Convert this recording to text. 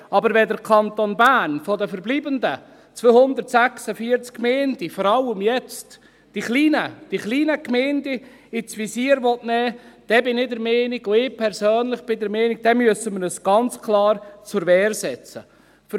Aber wenn der Kanton Bern von den verbleibenden 246 Gemeinden jetzt vor allem die kleinen Gemeinden ins Visier nehmen will, dann bin ich persönlich der Meinung, dass wir uns ganz klar zur Wehr setzen müssen.